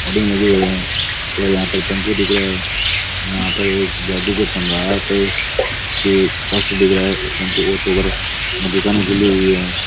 और यहां पर टम्पू दिख रहा है यहां पर एक जादूगर सम्राट का पोस्टर दिख रहा है टम्पू ऑटो पर दुकाने खुली हुई है।